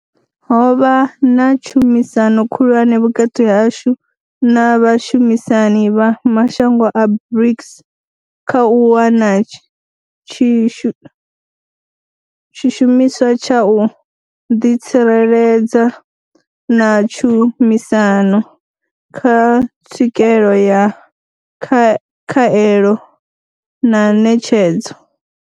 Ho vha na tshumisano khulwane vhukati hashu na vhashumisani vha mashango a BRICS kha u wana tshi shumiswa tsha u ḓitsireledza na tshumisano kha tswikelo ya khaelo na ṋetshedzo.